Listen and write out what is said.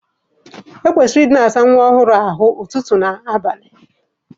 E kwesịrị ị na-asa nwa ọhụrụ ahụ ụtụtụ na ehihie.